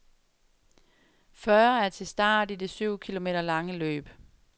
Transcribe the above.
Fyrre er til start i det syv kilometer lange løb.